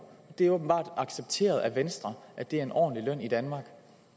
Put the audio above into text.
det er åbenbart accepteret af venstre at det er en ordentlig løn i danmark